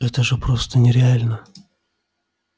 это же просто нереально